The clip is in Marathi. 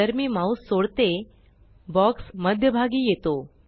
जसे मी माउस सोडते बॉक्स मध्य भागी येतो